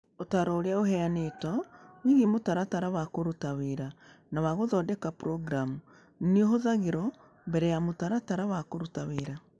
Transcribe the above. Ũtaaro ũrĩa ũheanĩtwo wĩgiĩ mũtaratara wa kũruta wĩra na wa gũthondeka programu nĩ ũhũthagĩrũo mbere ya mũtaratara wa kũruta wĩra.